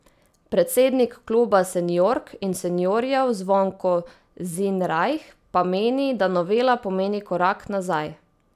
Predsednik kluba seniork in seniorjev Zvonko Zinrajh pa meni, da novela pomeni korak nazaj.